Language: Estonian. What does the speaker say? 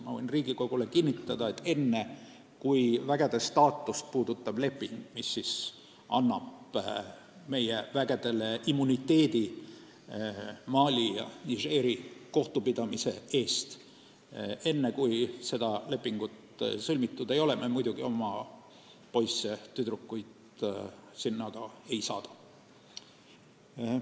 Ma võin Riigikogule kinnitada, et enne, kui vägede staatust puudutav leping, mis annab meie üksustele immuniteedi Mali ja Nigeri kohtupidamise eest, sõlmitud ei ole, me muidugi oma poisse ja tüdrukuid sinna ei saada.